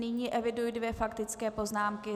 Nyní eviduji dvě faktické poznámky.